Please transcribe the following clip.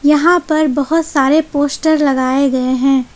यहां पर बहुत सारे पोस्टर लगाए गए हैं।